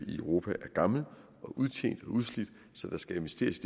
i europa er gammel og udtjent og udslidt så der skal investeres